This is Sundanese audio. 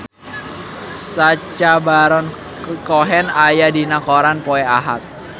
Sacha Baron Cohen aya dina koran poe Ahad